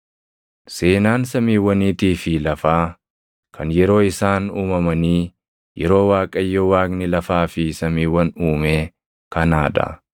Seenaan samiiwwaniitii fi lafaa kan yeroo isaan uumamanii, yeroo Waaqayyo Waaqni lafaa fi samiiwwan uumee kanaa dha.